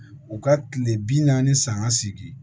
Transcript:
U ka kile bi naani ni san seegin